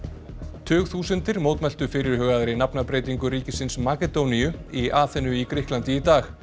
tugþúsundir mótmæltu fyrirhugaðri nafnabreytingu ríkisins Makedóníu í Aþenu í Grikklandi í dag